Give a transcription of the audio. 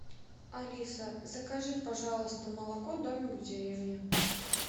алиса закажи пожалуйста молоко домик в деревне